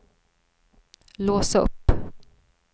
lås upp